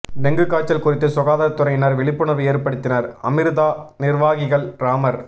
dengue காய்ச்சல் குறித்து சுகாதார துறையினர் விழிப்புணர்வு ஏற்படுத்தினர் அமிர்தா நிர்வாகிகள் ராமர்